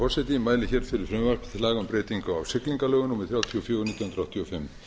laga um breytingu á siglingalögum númer þrjátíu og fjögur nítján hundruð áttatíu og fimm með